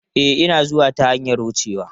E, Ina zuwa ta hanyar wucewa.